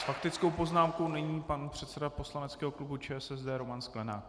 S faktickou poznámkou nyní pan předseda poslaneckého klubu ČSSD Roman Sklenák.